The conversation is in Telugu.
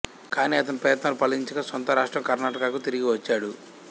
కానీ అతని ప్రయత్నాలు ఫలించక స్వంత రాష్ట్రం కర్ణాటకకు తిరిగి వచ్చాడు